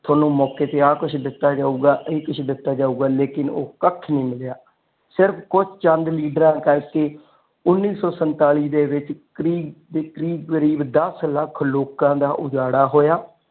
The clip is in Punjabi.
ਤੈਨੂੰ ਮੌਕੇ ਤੇ ਇਹ ਕੁਝ ਦਿੱਤਾ ਜਾਉ ਗਏ ਇਹ ਕੁਛ ਦਿੱਤਾ ਜਾਊਗਾ ਲੇਕਿਨ ਉਹ ਕੱਖ ਨਹੀਂ ਮਿਲਿਆ ਸਿਰਫ ਕੁਜ ਚੰਦ ਲੀਡਰਾ ਕਰਕੇ ਉੰਨੀ ਸੋ ਸੰਤਾਲੀ ਦੇ ਵਿੱਚ ਕਰੀਬ ਕਰੀਬ ਦੱਸ ਲੱਖ ਲੋਕਾਂ ਦਾ ਉਜਾੜਾ ਹੋਇਆ।